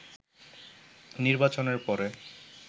“নির্বাচনের পরে